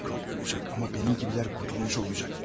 Mikrob öləcək, amma mənim kibilər qurtulmuş olacaq.